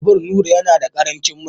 Babur Nura yana da karancin mai